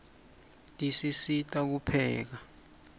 tisisita kupheka